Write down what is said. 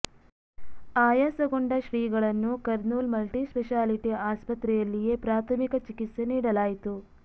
ಆಯಾಸಗೊಂಡ ಶ್ರೀಗಳನ್ನು Kurnool multi speciality ಆಸ್ಪತ್ರೆಯಲ್ಲಿಯೇ ಪ್ರಾಥಮಿಕ ಚಿಕಿತ್ಸೆ ನೀಡಲಾಯಿತು